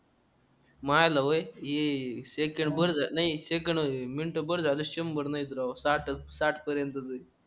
व्हायल वय ये सेकंड बरं नाही सेकंड मिनिट बर झालं शंबर नाहीत राव साठच साठ पर्यंतचे